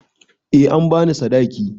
Eh an ba ni sadaki.